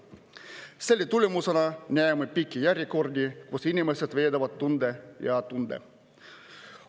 Selle tulemusena näeme pikki järjekordi, kus inimesed veedavad tunde ja tunde.